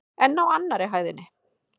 En á annarri hæðinni?